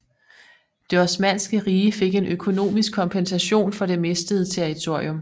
Det osmanske rige fik en økonomisk kompensation for det mistede territorium